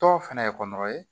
Dɔw fɛnɛ ye ye